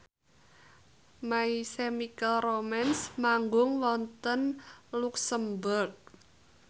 My Chemical Romance manggung wonten luxemburg